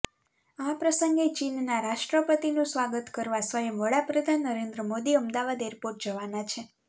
આ પ્રસંગે ચીનના રાષ્ટ્રપતિનું સ્વાગત કરવા સ્વયં વડાપ્રધાન નરેન્દ્ર મોદી અમદાવાદ એરપોર્ટ જવાના છે